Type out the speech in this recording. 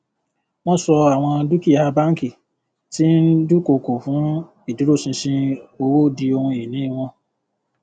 wọn ṣọ àwọn dúkìá bánkì tí ń dúkokò fún ìdúróṣinṣin owó di ohun ìní wọn